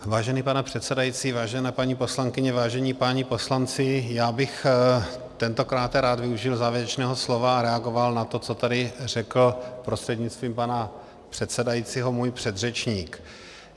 Vážený pane předsedající, vážené paní poslankyně, vážení páni poslanci, já bych tentokrát rád využil závěrečného slova a reagoval na to, co tady řekl prostřednictvím pana předsedajícího můj předřečník.